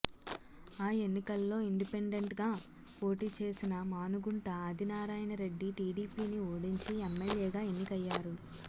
ఆ ఎన్నికల్లో ఇండిపెండెంట్గా పోటీచేసిన మానుగుంట ఆదినారాయణరెడ్డి టీడీపీని ఓడించి ఎమ్మెల్యేగా ఎన్నికయ్యారు